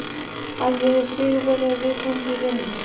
Að ég er sigurvegari í viðurkenndri rimmu.